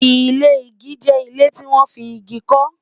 ilé ìgi jẹ ilé tí wọn fí ìgi ko